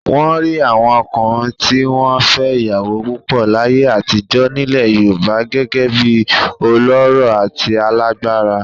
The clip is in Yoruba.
Wọ́n rí àwọn ọkùnrin tí wọ́n fẹ́ ìyàwó púpọ̀ láyé àtijọ́ nílẹ̀ Yorùbá gẹ́gẹ́ bí ọlọ́rọ̀ àti alágbára.